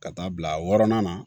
Ka taa bila wɔɔrɔnan na